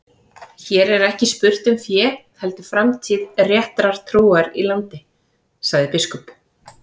Hér er ekki spurt um fé heldur framtíð réttrar trúar í landi, sagði biskup.